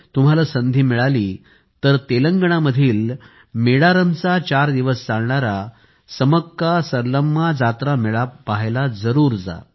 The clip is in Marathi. तुम्हांला संधी मिळाली तर तेलंगणामधील मेदारमचा चार दिवस चालणारा समक्कासरलम्मा जातरा मेळा पाहायला जरूर जा